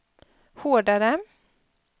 hårdare